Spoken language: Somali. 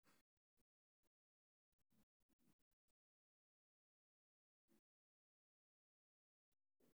Dabaaldegga taariikhda deegaanka ee dugsiyada waxay kobcinaysaa ku habboonaanta manhajka.